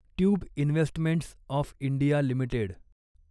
tube investments of India limited